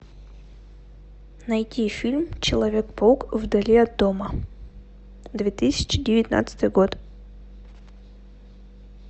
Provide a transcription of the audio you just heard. найти фильм человек паук вдали от дома две тысячи девятнадцатый год